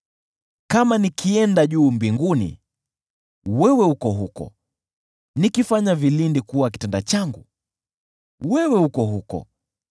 Kama nikienda juu mbinguni, wewe uko huko; nikifanya vilindi kuwa kitanda changu, wewe uko huko.